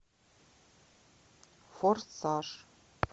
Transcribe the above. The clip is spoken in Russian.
форсаж